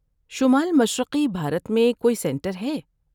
شمال مشرقی بھارت میں کوئی سنٹر ہے؟